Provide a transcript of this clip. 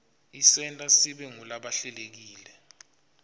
isenta sibe ngulabahlelekile